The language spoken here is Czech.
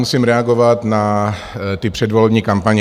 Musím reagovat na ty předvolební kampaně.